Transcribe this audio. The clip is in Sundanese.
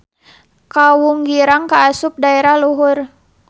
Kawunggirang kaasup daerah luhur.